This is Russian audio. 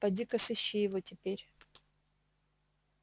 пойди ка сыщи его теперь